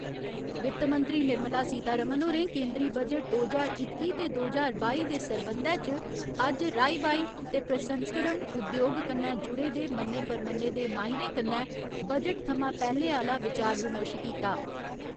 वित्त मंत्री निर्मला सीतारामन होरें केंदरी बजट दो ज्हार इक्की ते दो ज्हार बाई दे सरबंधै च अज्ज राई बाई ते प्रसंस्करण उद्योग कन्नै जुड़े दे मन्ने परमन्ने दे माहिरें कन्नै बजट थमां पैह्‌ले आह्‌ला विचार विमर्श कीता।